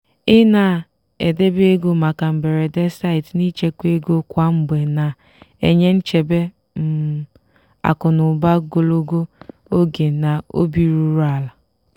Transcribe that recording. i na-edebe ego maka mberede site n'ịchekwa ego kwa mgbe na-enye nchebe um akụ na ụba gologo oge na obi ruru ala.